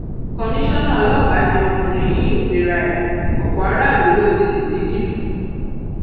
komisanna ọlọpàá ni ọkùnrin yìí ń pera ẹ ọpọ aráàlú ló um ti lù ní ní jìbìtì um